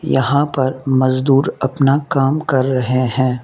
यहां पर मजदूर अपना काम कर रहे हैं।